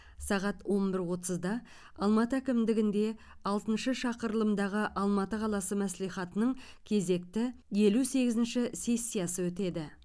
сағат он бір отызда алматы әкімдігінде алтыншы шақырылымдағы алматы қаласы мәслихатының кезекті елу сегізінші сессиясы өтеді